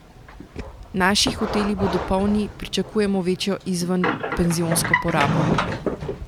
Naši hoteli bodo polni, pričakujemo večjo izvenpenzionsko porabo.